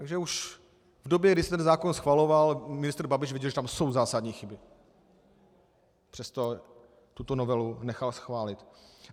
Takže už v době, kdy se ten zákon schvaloval, ministr Babiš věděl, že tam jsou zásadní chyby, přesto tuto novelu nechal schválit.